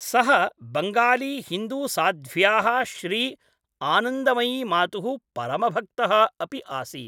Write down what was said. सः बङ्गाली हिन्दूसाध्व्याः श्री आनन्दमयीमातुः परमभक्तः अपि आसीत्।